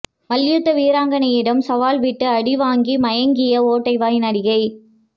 மல்யுத்த வீராங்கனையிடம் சவால்விட்டு அடி வாங்கி மயங்கிய ஓட்டை வாய் நடிகை